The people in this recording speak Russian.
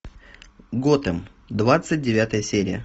готэм двадцать девятая серия